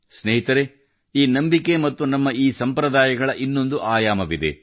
ಸ್ನೇಹಿತರೇ ಈ ನಂಬಿಕೆ ಮತ್ತು ನಮ್ಮ ಈ ಸಂಪ್ರದಾಯಗಳ ಇನ್ನೊಂದು ಆಯಾಮವಿದೆ